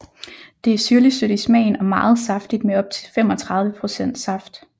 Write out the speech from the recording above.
Det er syrligtsødt i smagen og meget saftigt med op til 35 procent saft